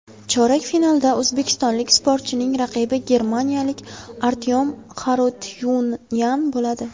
Chorak finalda o‘zbekistonlik sportchining raqibi germaniyalik Artyom Xarutyunyan bo‘ladi.